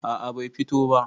a a Bai fito ba